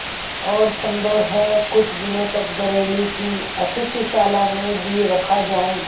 और सम्भव है कुछ दिनों तक बरेली की अतिथिशाला में भी रखा जाऊँ